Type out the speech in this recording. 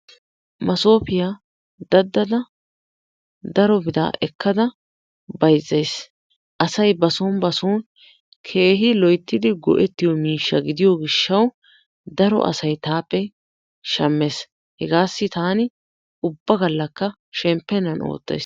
Maasopiya daddada daro bira ekkada bayzzays. asay ba soon ba soon keehi loyttidi go''ettiyo miishsha gidiyo gishshaw daro asay taappe shammes. hegassi taani ubba gallakka shemppennan oottays.